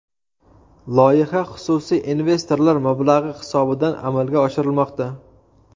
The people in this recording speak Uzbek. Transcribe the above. Loyiha xususiy investorlar mablag‘i hisobidan amalga oshirilmoqda.